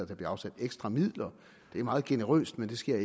der bliver afsat ekstra midler det er meget generøst men det skal